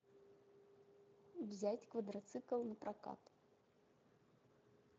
взять квадроцикл на прокат